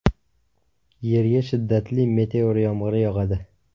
Yerga shiddatli meteor yomg‘iri yog‘adi.